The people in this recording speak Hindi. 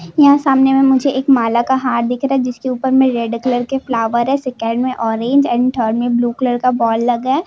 यहां सामने मे मुझे एक माला का हार दिख रहा है जिस के ऊपर में रेड कलर के फलावेर है सेकंड मे ऑरेंज एंड थर्ड में ब्लू कलर का बोल लगा है।